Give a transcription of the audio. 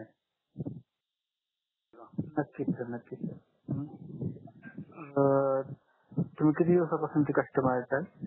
नक्कीच सर नक्कीच अं तुम्ही किती दिवस पासूनचे कस्टमर आहे सर